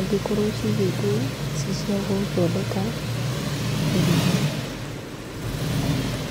ingĩkorwo cigĩtwo ci cia gũthondeka iria.